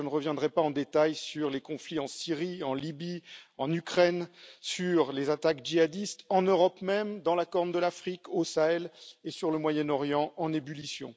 je ne reviendrai pas en détails sur les conflits en Syrie, en Libye, ou en Ukraine, sur les attaques djihadistes en Europe même, dans la Corne de l'Afrique, au Sahel et sur le Moyen Orient en ébullition.